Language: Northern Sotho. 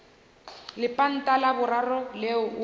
lepanta la boraro leo o